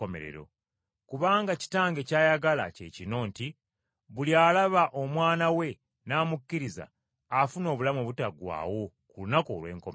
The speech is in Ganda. Kubanga Kitange ky’ayagala kye kino nti buli alaba Omwana we n’amukkiriza afuna obulamu obutaggwaawo ku lunaku olw’enkomerero.”